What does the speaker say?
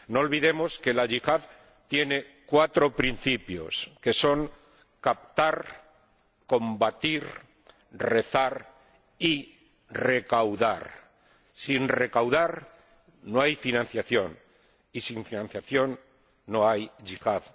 No olvidemos que la yihad tiene cuatro principios, que son captar, combatir, rezar y recaudar. Sin recaudar, no hay financiación y, sin financiación, no hay yihad.